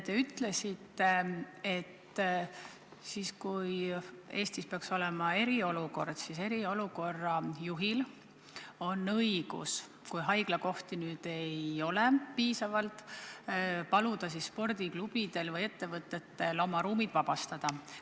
Te ütlesite, et kui Eestis peaks olema eriolukord, siis eriolukorra juhil on õigus, kui haiglakohti ei ole piisavalt, paluda spordiklubidel või ettevõtetel oma ruumid vabastada.